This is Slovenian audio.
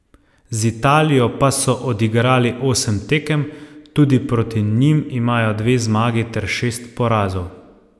Z Italijo pa so odigrali osem tekem, tudi proti njim imajo dve zmagi ter šest porazov.